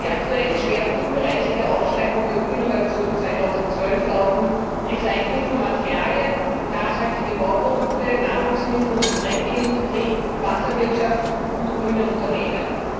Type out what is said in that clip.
Die aktuellen Schwerpunktbereiche der Ausschreibung Öko Innovation 2012 lauten Recycling von Materialien, nachhaltige Bauprodukte, Nahrungsmittel und Getränkeindustrie, Wasserwirtschaft und grüne Unternehmen.